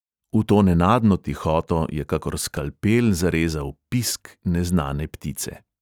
V to nenadno tihoto je kakor skalpel zarezal pisk neznane ptice.